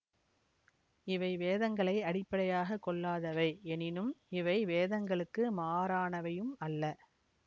இவை வேதங்களை அடிப்படையாக கொள்ளாதவை எனினும் இவை வேதங்களுக்கு மாறானவையும் அல்ல